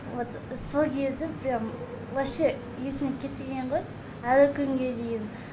вот сол кезі прям вообще есімнен кетпеген ғой әлі күнге дейін